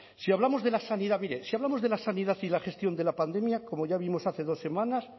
si hablamos de la sanidad mire si hablamos de la sanidad y la gestión de la pandemia como ya vimos hace dos semanas